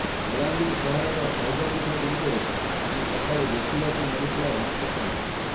ବଲାଙ୍ଗିର ସହରର ଶୈବପୀଠ ଗୁଡିକରେ ଆଜି ସକାଳୁ ଦେଖିବାକୁ ମିଳିଥିଲା ଭକ୍ତଙ୍କ ଭିଡ